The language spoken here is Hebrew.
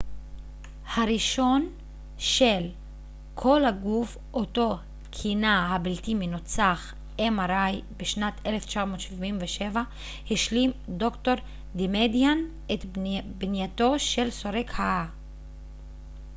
"בשנת 1977 השלים ד""ר דמאדיאן את בנייתו של סורק ה־mri הראשון של "כל-הגוף" אותו כינה "הבלתי מנוצח"".